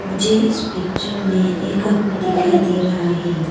मुझे इस पिक्चर में एक आदमी दिखाई दे रहा है।